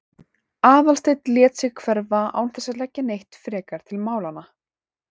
Aðalsteinn lét sig hverfa án þess að leggja neitt frekar til málanna.